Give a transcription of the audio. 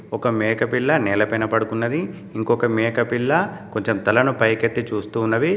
ఒక మేకపిల్ల నేలపైన పడుకున్నదిఇంకొక మేకపిల్ల కొంచెం తలను పైకెత్తి చూస్తూ ఉన్నవి.